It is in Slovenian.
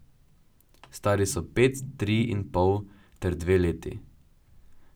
Stari so pet, tri in pol ter dve leti.